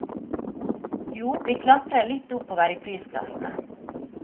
Jo, vi klatrer litt oppover i prisklassene.